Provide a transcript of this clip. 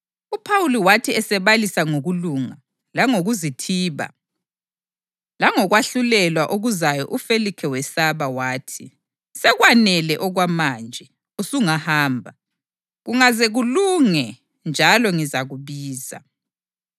UPhawuli wathi esebalisa ngokulunga, langokuzithiba langokwahlulelwa okuzayo uFelikhe wesaba wathi, “Sekwanele okwamanje! Usungahamba. Kungaze kulunge njalo ngizakubiza.”